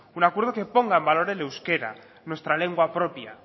un acuerdo que ponga en valor el euskera nuestra lengua propia